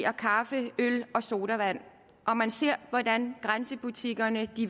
og kaffe øl og sodavand og man ser hvordan grænsebutikkerne